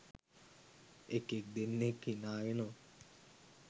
එකෙක් දෙන්නෙක් හිනා වෙනවා